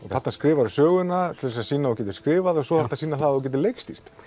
þarna skrifarðu söguna til að sýna að þú getir skrifað og svo þarftu að sýna að þú getir leikstýrt